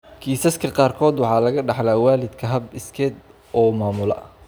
Kiisaska qaarkood waxa laga dhaxlaa waalidka hab iskeed u maamula.